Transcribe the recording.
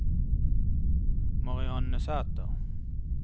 Marianne Sæther